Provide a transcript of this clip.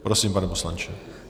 Prosím, pane poslanče.